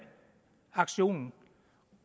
aktion